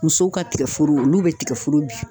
Musow ka tigɛforo olu be tigɛforo bin